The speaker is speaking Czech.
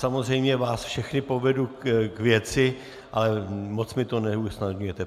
Samozřejmě vás všechny povedu k věci, ale moc mi to neusnadňujete.